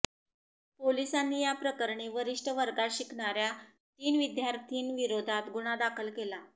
पोलिसांनी या प्रकरणी वरिष्ठ वर्गात शिकणाऱ्या तीन विद्यार्थिनींविरोधात गुन्हा दाखल केला